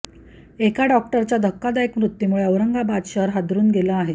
एका डॉक्टरच्या धक्कादायक मृत्यूमुळे औरंगाबाद शहर हादरुन गेले आहे